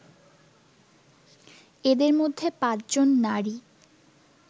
এদের মধ্যে পাঁচজন নারী